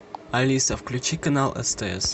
алиса включи канал стс